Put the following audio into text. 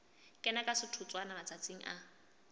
kena ka setotswana matsatsing a